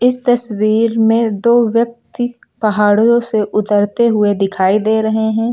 इस तस्वीर में दो व्यक्ति पहाड़ों से उतरते हुए दिखाई दे रहे हैं।